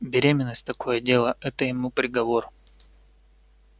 беременность такое дело это ему приговор